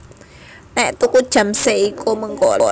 Nek tuku jam Seiko mengko oleh servis gratis